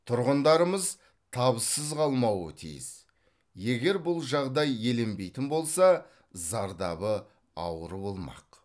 тұрғындарымыз табыссыз қалмауы тиіс егер бұл жағдай еленбейтін болса зардабы ауыр болмақ